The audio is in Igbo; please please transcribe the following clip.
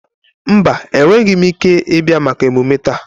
Mba, enweghị m ike ịbịa maka emume taa.